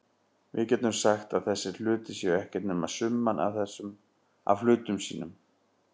Við getum sagt að þessir hlutir séu ekkert nema summan af hlutum sínum.